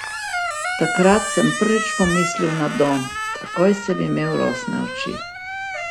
Takrat sem prvič pomislil na dom, takoj sem imel rosne oči.